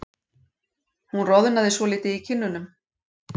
Hún roðnaði svolítið í kinnunum.